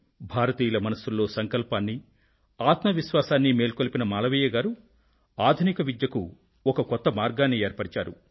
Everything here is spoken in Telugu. భారతీయుల మనసుల్లో సంకల్పాన్నీ ఆత్వ విశ్వాసాన్నీ మేల్కొలిపిన మాలవీయ గారు ఆధునిక విద్యకు ఒక కొత్త మార్గాన్ని ఏర్పరిచారు